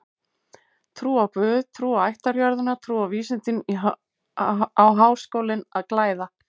Trú á guð, trú á ættjörðina, trú á vísindin á Háskólinn að glæða.